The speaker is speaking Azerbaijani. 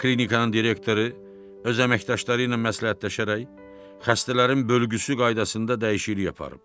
klinikanın direktoru öz əməkdaşları ilə məsləhətləşərək xəstələrin bölgüsü qaydasında dəyişiklik aparıb.